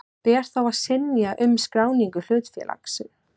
Ber þá að synja um skráningu hlutafélags.